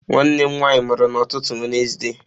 Nwanne m nwanyị mụrụ n'ụtụtụ Wenezde.